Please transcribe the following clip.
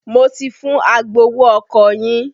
Mo ti fún agbowó ọkọ̀ yín.